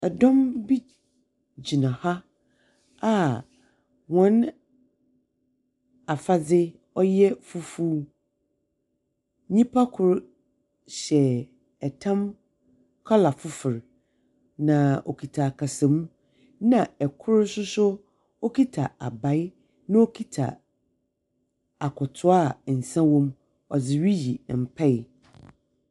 Dɔm bi gyina ha a hɔn afadze ɔyɛ fufuw. Nyimpa kor hyɛ tam colour fofor, na okita akasamu, na kor nso so kita abae na ɔkita akɔtoa a nsa wɔ mu. Ɔdze riyi mpae.